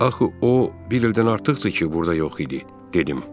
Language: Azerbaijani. Axı o bir ildən artıqdır ki, burda yox idi, dedim.